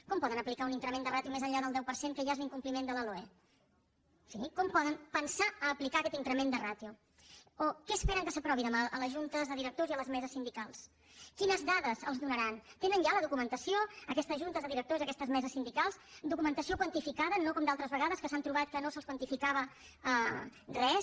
com poden aplicar un increment de ràtio més enllà del deu per cent que ja és l’incompliment de la loe sí com poden pensar a aplicar aquest increment de ràtio o què esperen que s’aprovi demà a les juntes de directors i a les meses sindicals quines dades els donaran tenen ja la documentació aquestes juntes de directors aquestes meses sindicals documentació quantificada no com altres vegades que s’han trobat que no se’ls quantificava res